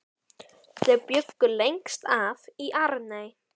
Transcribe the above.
Þau bjuggu lengst af í Arney.